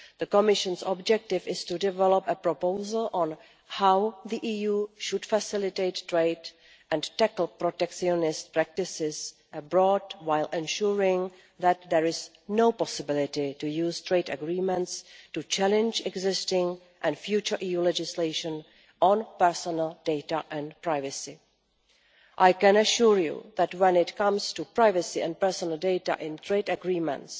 The Commission's objective is to develop a proposal on how the EU should facilitate trade and tackle protectionist practices abroad, while ensuring that there is no possibility to use trade agreements to challenge existing and future EU legislation on personal data and privacy. I can assure you that when it comes to privacy and personal data in trade agreements,